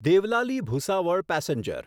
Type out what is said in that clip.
Deolali Bhusawal passenger